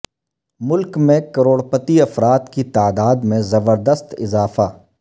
ملک میں کروڑپتی افراد کی تعداد میں زبردست اضافہ